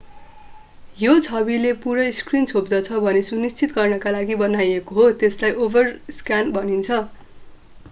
यो छविले पूरै स्क्रिन छोप्दछ भन्ने सुनिश्चित गर्नको लागि बनाइएको हो त्यसलाई ओभरस्क्यान भनिन्छ